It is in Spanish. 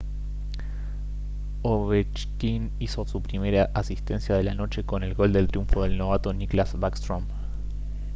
ovechkin hizo su primera asistencia de la noche con el gol del triunfo del novato nicklas backstrom